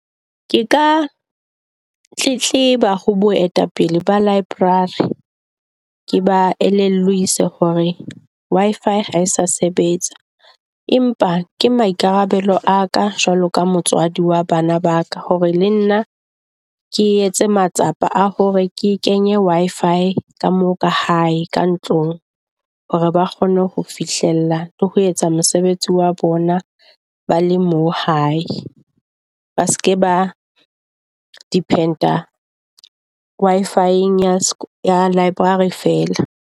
Ke ka tletleba ho boetapele ba library ke ba hore Wi-fi ha e sa sebetsa empa ke maikarabelo a ka jwalo ka motswadi wa bana ba ka hore le nna ke etse matsapa a hore ke kenye Wi-fi ka moo ka hae ka ntlong. Hore ba kgone ho fihlella le ho etsa mosebetsi wa bona. Ba le mo hae ba seke ba depend a Wi-fi ya library fela.